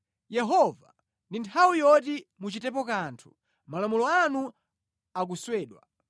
Yehova, ndi nthawi yoti muchitepo kanthu; malamulo anu akuswedwa.